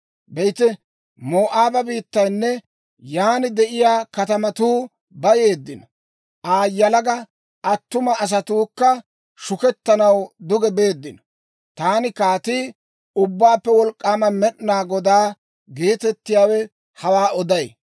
Be'ite, Moo'aaba biittaynne yaan de'iyaa katamatuu bayeeddino. Aa yalaga attuma asatuukka shukettanaw duge beeddino. Taani Kaatii, Ubbaappe Wolk'k'aama Med'inaa Godaa geetettiyaawe hawaa oday.